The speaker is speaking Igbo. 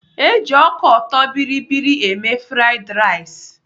Eji ọka ọtọbịrịbịrị eme fraiịd rais.